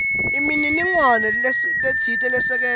inemininingwane letsite lesekela